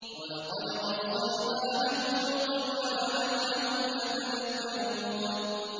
۞ وَلَقَدْ وَصَّلْنَا لَهُمُ الْقَوْلَ لَعَلَّهُمْ يَتَذَكَّرُونَ